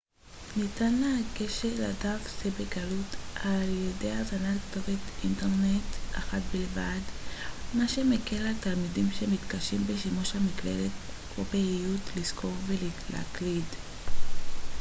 ניתן לגשת לדף זה בקלות על ידי הזנת כתובת אינטרנט אחת בלבד מה שמקל על תלמידים שמתקשים בשימוש במקלדת או באיות לזכור ולהקליד